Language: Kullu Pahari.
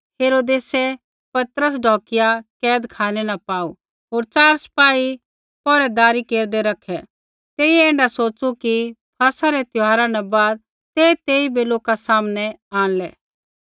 हेरोदेसै पतरस ढौकिआ कैदखानै न पाऊ होर च़ार सिपाही पैहरैदारी केरदै रखै तेइयै ऐण्ढा सोच़ू कि फसह रै त्यौहारा न बाद ते तेइबै लोका सामनै आंणलै